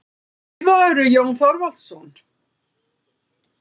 Skrifarðu, Jón Þorvaldsson?